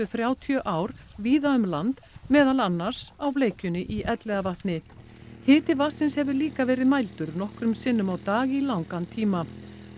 þrjátíu ár víða um land meðal annars á bleikjunni í Elliðavatni hitastig vatnsins hefur líka verið mældur nokkrum sinnum á dag í langan tíma